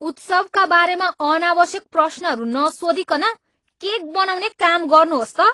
उत्सवका बारेमा अनावश्यक प्रश्नहरू नसोधीकन केक बनाउने काम गर्नुहोस् त।